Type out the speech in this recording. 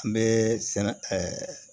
An bɛ sɛnɛ